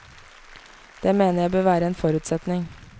Det mener jeg bør være en forutsetning.